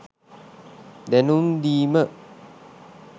දැනුම් දීම